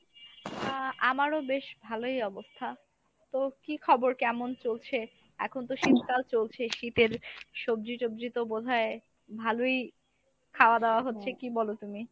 আহ আমারও বেশ ভালোই অবস্থা। তো কী খবর কেমন চলছে? এখন তো শীতকাল চলছে, শীতের সবজি টবজি তো বোধ হয় ভালোই খাওয়া দাওয়া হচ্ছে কী বল তুমি?